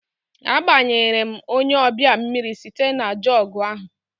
Agbanyere m onye ọbịa mmiri site na jọgụ ahụ